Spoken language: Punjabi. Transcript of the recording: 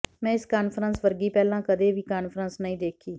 ਮੈਂ ਇਸ ਕਾਨਫਰੰਸ ਵਰਗੀ ਪਹਿਲਾਂ ਕਦੇ ਵੀ ਕਾਨਫਰੰਸ ਨਹੀਂ ਦੇਖੀ